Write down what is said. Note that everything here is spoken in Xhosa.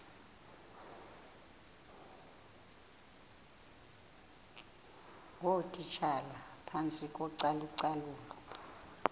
ngootitshala phantsi kocalucalulo